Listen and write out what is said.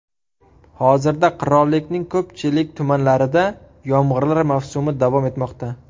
Hozirda qirollikning ko‘pchilik tumanlarida yomg‘irlar mavsumi davom etmoqda.